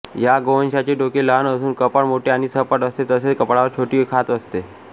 या गोवंशाचे डोके लहान असून कपाळ मोठे आणि सपाट असते तसेच कपाळावर छोटी खाच असते